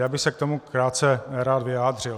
Já bych se k tomu krátce rád vyjádřil.